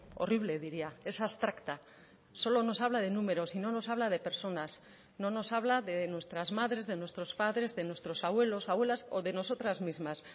horrible diría es abstracta solo nos habla de números y no nos habla de personas no nos habla de nuestras madres de nuestros padres de nuestros abuelos abuelas o de nosotras mismas